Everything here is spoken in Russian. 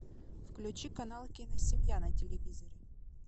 включи канал киносемья на телевизоре